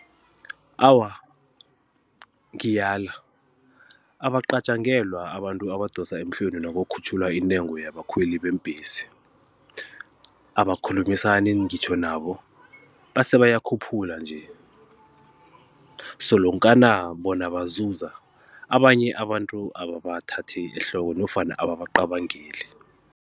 Awa, ngiyala abaqatjangelwa abantu abadosa emhlweni nakukhutjhulwa intengo yabakhweli beembhesi, abakhulumisani ngitjho nabo base bayakhuphula nje solonkana bona bazuza abanye abantu ababathathi ehloko nofana ababaqabangeli.